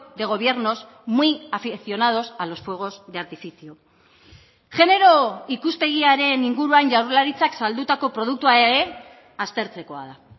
de gobiernos muy aficionados a los fuegos de artificio genero ikuspegiaren inguruan jaurlaritzak saldutako produktua ere aztertzekoa da